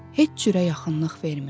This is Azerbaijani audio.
Heç cürə yaxınlıq vermirdi.